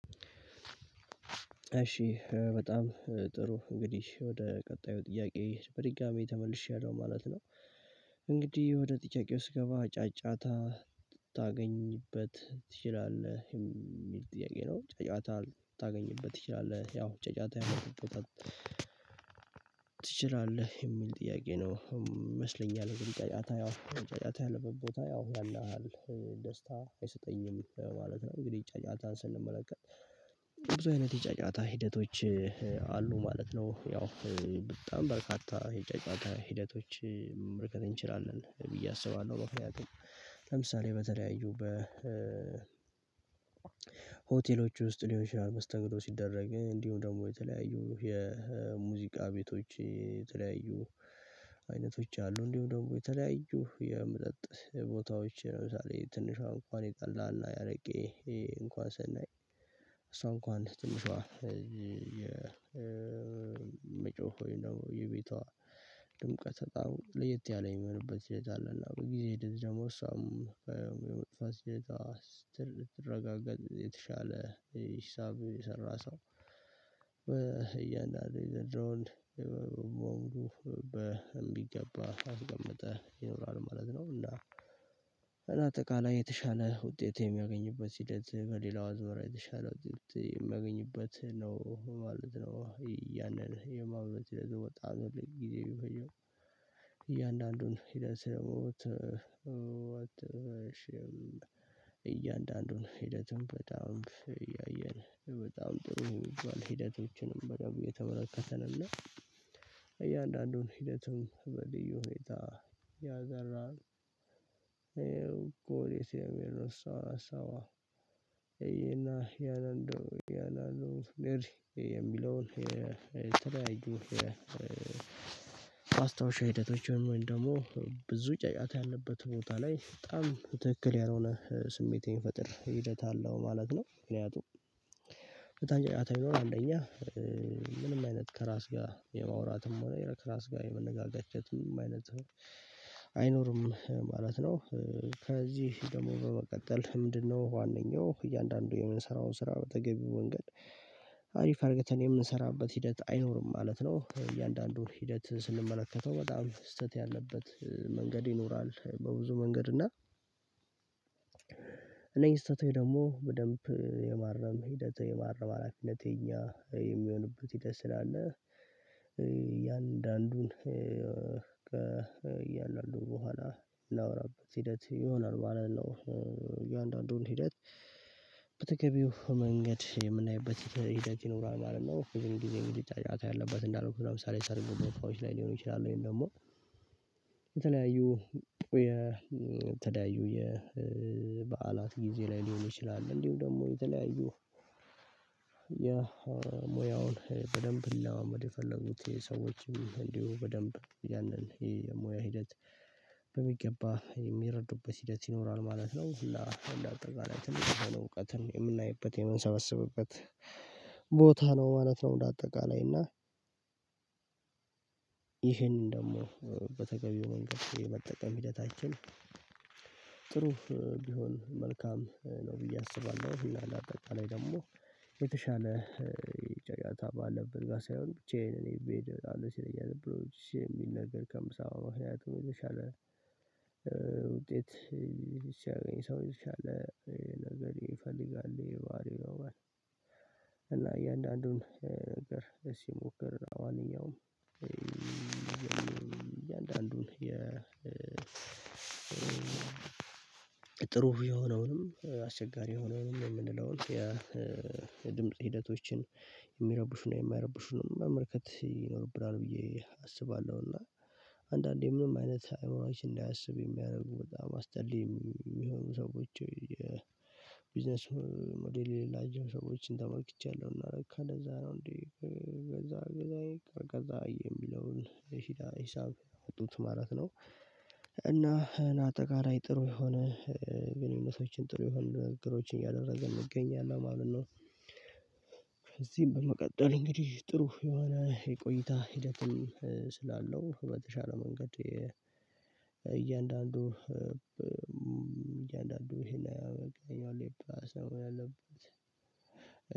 እሺ በጣም ጥሩ እንግዲህ ወደ ቀጣዩ ጥያቄ በድጋሚ ተመልሻለሁ ማለት ነው። እንግዲህ ወደጥያቄው ስገባ ጫጫታ ታገኝበት ትችላለህ የሚል ጥያቄ ነው? ጫጫታ ልታገኝበት ትችላለህ ያው ጫጫታ የሆነ ቦታ። ትችላለህ የሚል ጥያቄ ነው ይመስለኛል። እንግዲህ ጫጫታ ያው ጫጫታ ያለበት ቦታ ያው ያን ያህል ደስታ አይሰጠኝም ማለት ነው። እንግዲህ ጫጫታን ስንመለከት ብዙ አይነት የጫጫታ ሂደቶች አሉ ማለት ነው። ያው በጣም በርካታ የጫጫታ ሂደቶች መመልከት እንችላለን ብዬ አስባለሁ። ምክንያቱም ለምሳሌ በተለያዩ በ ሆቴሎች ውስጥ ሊሆን ይችላል መስተንግዶ ሲደረግ እንዲሁ ደግሞ የተለያዩ የሙዚቃ ቤቶች የተለያዩ አይነቶች አሉ። እንዲሁም ደግሞ የተለያዩ የመጠጥ ቦታዎች ለምሳሌ ትንሿ እንኳን የጠላና ያረቄ እንኳን ስናይ እሷ እንኳን ትንሿ የመጮህ ወይም ደግሞ የቤቷ ጥምቀት በጣም ለየት ያለ የሚሆንበት ሁኔታ አለ። እና በጊዜ ደግሞ እሷም የመጥፋት ስራ ትረጋገጥ የተሻለ ሂሳብ የሰራ ሰው እያንዳንዱ የዘንድሮውን በሙሉ በሚገባ አስቀምጠህ ይኖራል ማለት ነው። እና አጠቃላይ የተሻለ ውጤት የሚያገኙበት ሂደት በሌላው አዝማራ የተሻለ ውጤት የሚያገኝበት ነው ማለት ነው። ያንን የማብለት ለዘወጣ ጊዜ የሚገኘው ሂደት ሲደርስ እያንዳንዱን ሂደቱን በጣም እያየን በጣም ጥሩ የሚባል ሂደቶችንም በደንብ እየተመለከተን እና እያንዳንዱን ሂደትም በልዩ ሁኔታ እየሰራንራን የእኔና የሚለውን የተለያዩ ማስታውሻ ሂደቶች ወይም ደሞ ብዙ ጫጫታ ያለበት ቦታ ላይ በጣም ትክክል ያልሆነ ስሜት የሚፈጥር ሂደት አለው ማለት ነው። ምክንያቱም ድምቀት በጣም ለየት ያለ የሚሆንበት ሰዓት አለ እና በጊዜ ሂደት ደግሞ እሷም የመጥፋት ስራ ትረጋገጥ የተሻለ ሂሳብ የሰራ ሰው አይኖርም ማለት ነው። ከዚህ ደሞ በመቀጠል ምንድነው? ዋነኛው እያንዳንዱ የምንሰራውን ስራ በተገቢው መንገድ አሪፍ አድርገን የምንሰራበት ሂደት አይኖርም ማለት ነው። እያንዳንዱን ሂደት ስንመለከተው በጣም ስህተት ያለበት መንገድ ይኖራል በብዙ መንገድ እና እነኚህ ስህተት ደግሞ በደንብ የማረም ሂደት የማረም ሀላፊነት እኛ የሚሆንበት ሂደት ስላለ። እያንዳንዱን በኋላ የምናወራበት ሂደት ይሆናል ማለት ነው። እያንዳንዱን ሂደት በተገቢው መንገድ የምናይበት ሂደት ይኖራል ማለት ነው። ብዙውን ጊዜ እንግዲህ ጫጫታ ያለበት እንዳልኩህ ለምሳሌ ሰርግ ቦታዎች ላይ ሊሆኑ ይችላሉ ወይም ደግሞ የተለያዩ የተለያዩ የበዓላት ጊዜ ላይ ሊሆን ይችላል እንዲሁ ደግሞ የተለያዩ የሞያውን በደንብ ሊለማመድ የፈለጉት ሰዎችም እንዲሁ በደንብ ያንን የሙያ ሂደት በሚገባ የሚረዱበት ሂደት ይኖራል ማለት ነው። እና አጠቃላይ ትምህርትም ሆነ እውቀትን የምናይበት የምንሰበስብበት ቦታ ነው ማለት ነው። እንደ አጠቃላይ እና ይሄንን ደግሞ በተገቢው መንገድ የመጠቀም ሂደታችን ጥሩ ቢሆን መልካም ነው ብዬ አስባለሁ። እና እንደ አጠቃላይ ደግሞ የተሻለ ጫጫታ ባለበት ጋ ሳይሆን ብቻየን እኔ ብሄድ አሉ ሲለያዝ ብሎ የሚል ነገር ከምሳ ማህሪያቱን የተሻለ ውጤት ሲያገኝ ሰው የተሻለ ነገር ይፈልጋል። የባህሪ ገባህ። እና እያንዳንዱን እግር ሲሞከር ለማንኛውም እያንዳንዱን የ ጥሩ የሆነውንም አስቸጋሪ የሆነውን የምንለውን የድምጽ ሂደቶችን የሚረቡሽና የማይረብሹንም መመልከት ይኖርብናል ብዬ አስባለሁ። እና አንዳንዴ ምንም አይነት አዕምሯችንንእንዳያስብ የሚያደርጉ በጣም አስጠሊ እሚሆኑ ሰዎች የቢዝነስ ሞዴል የሌላቸው ሰዎችን ተመልክቻለሁ እና ለካ ለዛ ነው እንዴ? የሚለውን ሂሳብ ያጡት ማለት ነው። እና አጠቃላይ ጥሩ የሆነ ግንኙነቶችን ጥሩ የሆኑ ንግግሮችን ያደረግን እንገኛለን ማለት ነው። እዚህም በመቀጠል እንግዲህ ጥሩ የሆነ የቆይታ ሂደትም ስላለው በተሻለ መንገድ እያንዳንዱ ይሄን አይሆንም። ሌባ ሰው ያለበት